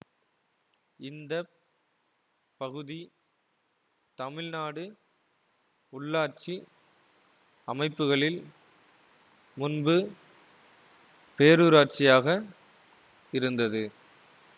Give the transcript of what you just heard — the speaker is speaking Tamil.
இந்த பகுதி தமிழ்நாடு உள்ளாட்சி அமைப்புகளில் முன்பு பேரூராட்சியாக இருந்தது